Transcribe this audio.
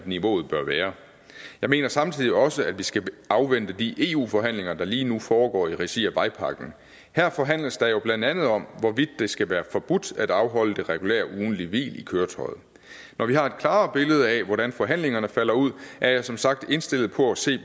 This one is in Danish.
niveauet bør være jeg mener samtidig også at vi skal afvente de eu forhandlinger der lige nu foregår i regi af vejpakken her forhandles der jo blandt andet om hvorvidt det skal være forbudt at afholde det regulære ugentlige hvil i køretøjet når vi har et klarere billede af hvordan forhandlingerne falder ud er jeg som sagt indstillet på at se